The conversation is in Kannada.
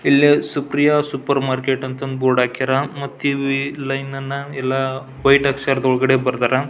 ಇಲ್ಲಿ ಸುಪ್ರಿಯಾ ಸೂಪರ್ ಮಾರ್ಕೆಟ್ ಅಂತ ಬೋರ್ಡ್ ಹಾಕ್ಯಾರ ಮತ್ತ ಈ ಲೈನ್ ಅನ್ನ ವೈಟ್ ಅಕ್ಷರದಲ್ ಬರ್ದರ.